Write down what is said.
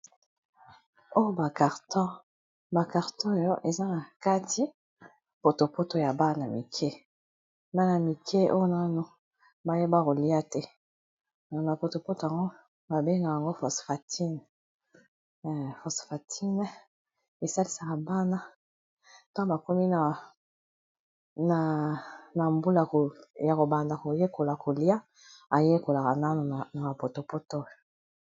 oyo ba carton , ba carton oyo eza na kati potopoto ya bana mike bana mike oyo nanu bayeba kolia te na potopoto oyo babenga yango fosfantine esalisaka bana tangu bakomi na mbula ya kobanda koyekola kolia.